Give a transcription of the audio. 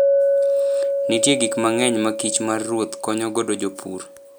Nitie gik mang'eny ma kich mar ruoth konyo godo jopur.